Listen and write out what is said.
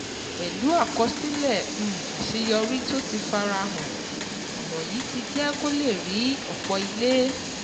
Pẹ̀lú àkọsílẹ̀ um àṣeyọrí tó ti fara hàn, ọ̀nà yìí ti jẹ́ kó lè rí ọ̀pọ̀ ilé